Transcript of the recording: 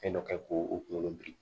Fɛn dɔ kɛ k'o o kunkolo biri